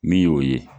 Min y'o ye